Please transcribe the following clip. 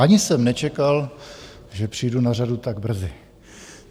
Ani jsem nečekal, že přijdu na řadu tak brzy.